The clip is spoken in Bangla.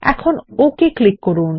এখন ওকে ক্লিক করুন